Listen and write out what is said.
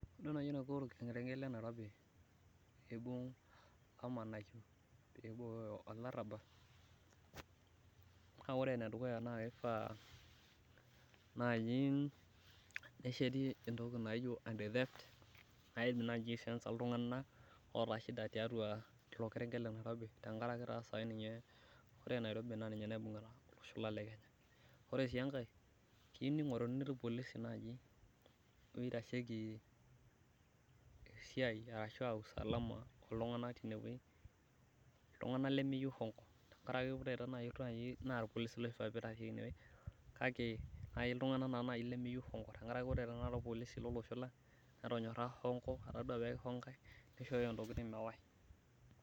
idol naaji eniko olkerenket lainairobi, pee eibung lamanayio, naa ore enedukuya naa kisha pee esheti entoki naji entithet naidim naaji sensa iltunganak, tenkaraki taa naa ore nairobi naa ninye naibungita olosho lang lekenya, ore sii enkae keyeiu ningoruni ilpolisi oitasheki esisi ashu usalama, iltunganak lemeyieu hongo, tenkaraki ore ilpolisi lenkop ang netonyora hongo nisho intokitin mewae.